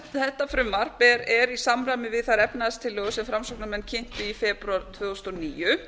þetta frumvarp er í samræmi við þær efnahagstillögur sem framsóknarmenn kynntu í febrúar tvö þúsund og níu